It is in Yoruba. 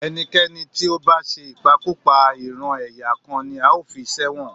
ẹnikẹ́ni tí ó bá ṣe ìpakúpa- ìran-ẹ̀yà kan ni a ó fi sẹ́wọ̀n